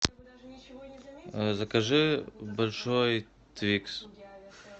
закажи большой твикс